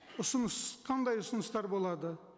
ұсыныс қандай ұсыныстар болады